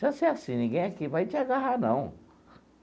Já sei assim, ninguém aqui vai te agarrar, não.